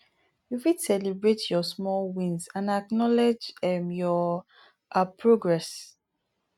you fit celebrate your small wins and acknowledge um your um progress